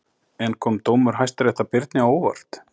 En kom dómur Hæstaréttar Birni á óvart?